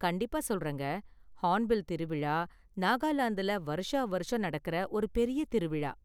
கண்டிப்பா சொல்றேங்க! Hornbill திருவிழா நாகாலாந்துல வருஷாவருஷம் நடக்குற ஒரு பெரிய திருவிழா.